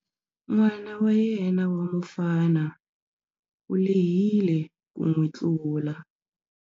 N'wana wa yena wa mufana u lehile ku n'wi tlula.